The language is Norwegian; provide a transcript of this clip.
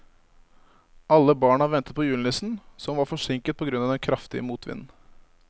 Alle barna ventet på julenissen, som var forsinket på grunn av den kraftige motvinden.